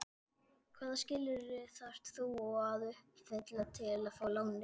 Hvaða skilyrði þarf þá að uppfylla til að fá lánið?